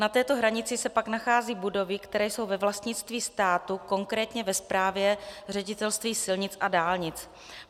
Na této hranici se pak nacházejí budovy, které jsou ve vlastnictví státu, konkrétně ve správě Ředitelství silnic a dálnic.